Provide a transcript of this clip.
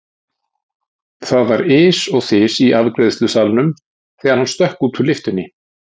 Það var ys og þys í afgreiðslusalnum þegar hann stökk út úr lyftunni.